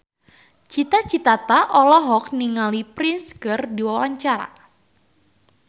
Cita Citata olohok ningali Prince keur diwawancara